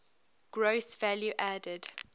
gross value added